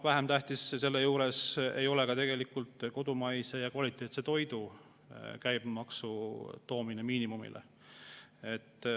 Vähem tähtis selle juures ei ole kodumaise kvaliteetse toidu käibemaksu toomine miinimumile.